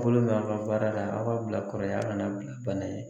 Bolo mɛ aw ka baara la aw k'a bila kɔrɔ ye aw kana bila bana ye.